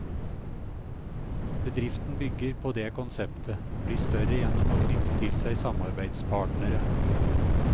Bedriften bygger på det konseptet, bli større gjennom å knytte til seg samarbeidspartnere.